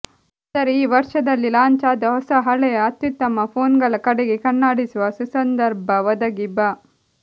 ಆದರೆ ಈ ವರ್ಷದಲ್ಲಿ ಲಾಂಚ್ ಆದ ಹೊಸ ಹಳೆಯ ಅತ್ಯುತ್ತಮ ಫೋನ್ಗಳ ಕಡೆಗೆ ಕಣ್ಣಾಡಿಸುವ ಸುಸಂದರ್ಭ ಒದಗಿ ಬ